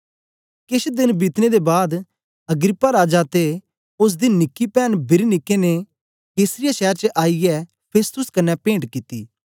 केछ देन बीतने दे बाद अग्रिप्पा राजा ते ओसदी निकी पैन बिरनीके ने कैसरिया शैर च आईयै फेस्तुस कन्ने पेंट कित्ती